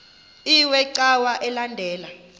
iwe cawa elandela